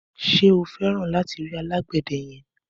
Ṣé feran lati ri alàgbéde yen?